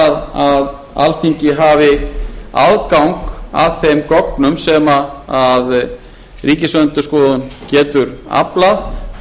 rétt að alþingi hafi aðgang að þeim gögnum sem ríkisendurskoðun getur aflað